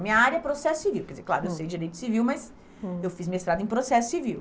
A minha área é Processo Civil, quer dizer, claro, eu sei Direito Civil, mas eu fiz mestrado em Processo Civil.